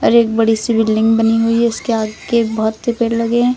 और एक बड़ी सी बिल्डिंग बनी हुई है उसके आगे बहुत से पेड़ लगे हैं।